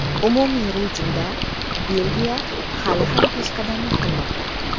Umumiy reytingda Belgiya hali ham peshqadamlik qilmoqda.